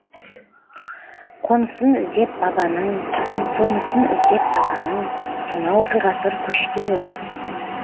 қонысын іздеп бабаның сонысын іздеп даланың сонау бір ғасыр көшкен ем